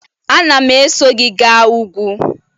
Anam eso gi ga ugwu